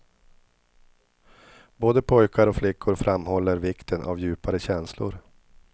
Både pojkar och flickor framhåller vikten av djupare känslor.